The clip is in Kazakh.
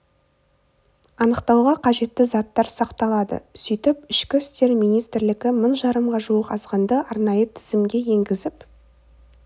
анықтауға қажетті заттар сақталады сөйтіп ішкі істер министрлігі мың жарымға жуық азғынды арнайы тізімге енгізіп